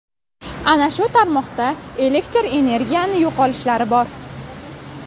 Ana shu tarmoqda elektr energiyani yo‘qolishlari bor.